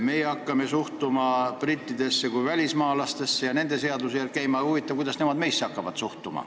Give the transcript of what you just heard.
Meie hakkame suhtuma brittidesse kui välismaalastesse ja käima nende seaduste järgi, aga huvitav, kuidas nemad edaspidi meisse suhtuvad.